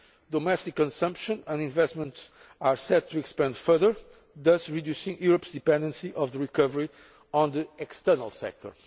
Domestic consumption and investments are set to expand further, thus reducing Europe's dependency on the recovery of the external sector.